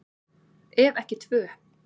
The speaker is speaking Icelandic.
Ef ekki tvö.